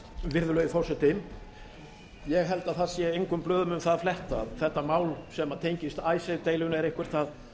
virðulegi forseti ég held að það sé engum blöðum um það að fletta að þetta mál sem tengist icesave deilunni er eitthvað það